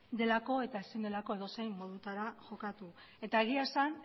delako eta ezin delako edozein modutara jokatu eta egia esan